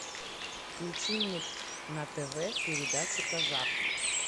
включи мне на тв передачу казах